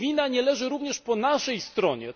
Czy wina nie leży również po naszej stronie?